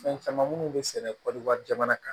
Fɛn caman minnu bɛ sɛnɛ kɔɔri wari jamana kan